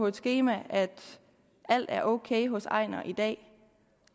et skema at alt er ok hos ejnar i dag